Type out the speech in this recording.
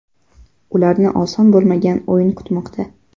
Ularni oson bo‘lmagan o‘yin kutmoqda.